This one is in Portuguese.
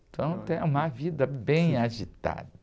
Então, eu tenho uma vida bem agitada.